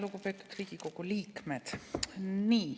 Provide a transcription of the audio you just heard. Lugupeetud Riigikogu liikmed!